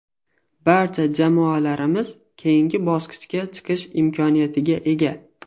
Barcha jamoalarimiz keyingi bosqichga chiqish imkoniyatiga ega.